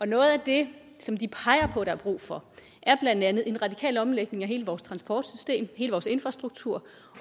noget af det som de peger på der er brug for er blandt andet en radikal omlægning af hele vores transportsystem hele vores infrastruktur